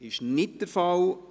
– Dies ist nicht der Fall.